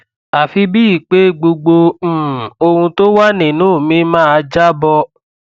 àfi bíi pé gbogbo um ohun tó wà nínú mi máa jábọ